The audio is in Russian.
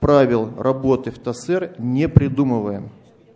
правил работы в тосэр не придумываем